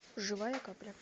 живая капля